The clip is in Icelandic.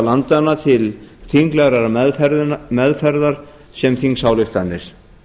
landanna til þinglegrar meðferðar sem þingsályktanir